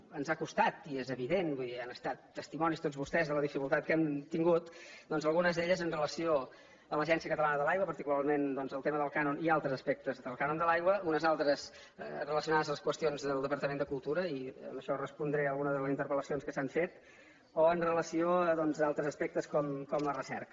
ens ha costat i és evident vull dir n’han estat testimonis tots vostès de la dificultat que hem tingut doncs algunes d’elles amb relació a l’agència catalana de l’aigua particularment el tema del cànon i altres aspectes del cànon de l’aigua unes altres relacionades a les qüestions del departament de cultura i amb això respondré alguna de les interpellacions que s’han fet o amb relació a altres aspectes com la recerca